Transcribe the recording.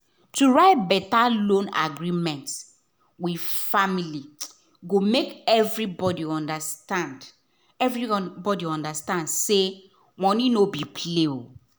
to write better loan agreement with family go make everybody understand everybody understand say money no be play.